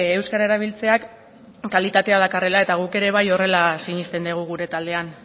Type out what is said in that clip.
euskara erabiltzeak kalitatea dakarrela eta guk ere bai horrela sinisten dugu gure taldean